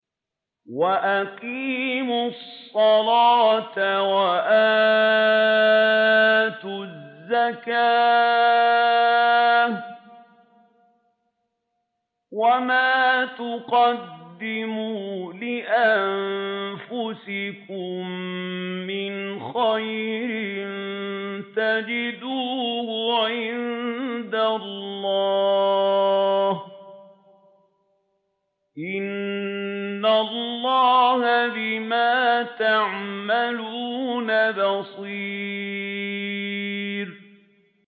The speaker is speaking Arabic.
وَأَقِيمُوا الصَّلَاةَ وَآتُوا الزَّكَاةَ ۚ وَمَا تُقَدِّمُوا لِأَنفُسِكُم مِّنْ خَيْرٍ تَجِدُوهُ عِندَ اللَّهِ ۗ إِنَّ اللَّهَ بِمَا تَعْمَلُونَ بَصِيرٌ